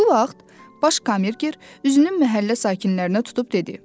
Bu vaxt Baş kammerger üzünü məhəllə sakinlərinə tutub dedi: